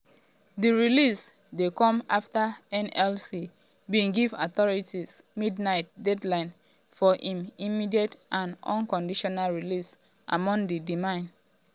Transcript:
di release dey come afta nlc bin give authorities midnight deadline for im "immediate and unconditional" release among oda demands.